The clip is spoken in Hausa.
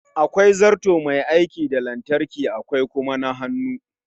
Akwai zarto Mai aiki da lantarki akwai kuma na hannu